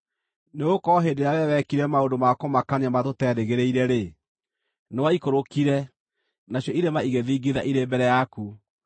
Nĩgũkorwo hĩndĩ ĩrĩa Wee wekire maũndũ ma kũmakania marĩa tũteerĩgĩrĩire-rĩ, nĩwaikũrũkire, nacio irĩma igĩthingitha irĩ mbere yaku.